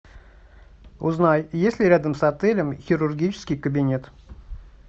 узнай есть ли рядом с отелем хирургический кабинет